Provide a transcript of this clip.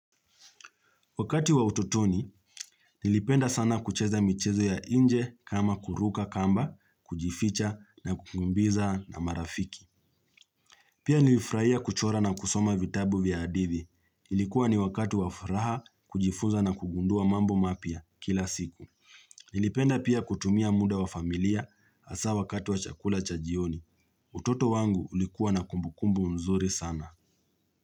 Wakati wa ututoni, nilipenda sana kucheza michezo ya inje kama kuruka kamba, kujificha na kukumbiza na marafiki. Pia nilifraia kuchora na kusoma vitabu vya adithi. Ilikuwa ni wakati wa furaha, kujifunza na kugundua mambo mapya kila siku. Nilipenda pia kutumia muda wa familia asa wakati wa chakula chajioni. Utoto wangu ulikuwa na kumbukumbu mzuri sana.